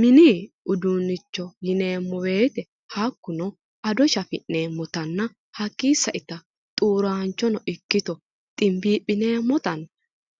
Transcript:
Mini uduunnicho yineemmo woyiite hakkuno ado shafi'neemmotanna hakkii saita xuuraanchono ikkito ximbiiphinayi